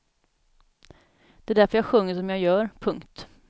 Det är därför jag sjunger som jag gör. punkt